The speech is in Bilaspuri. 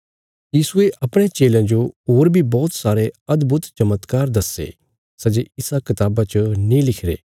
यीशुये अपणयां चेलयां जो होर बी बौहत सारे अदभुत चमत्कार दस्से सै जे इसा कताबा च नीं लिखिरे